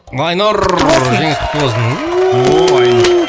айнұр құтты болсын жеңіс құтты болсын